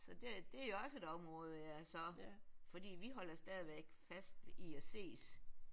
Så det er også et område jeg så fordi vi holder stadigvæk fast i at ses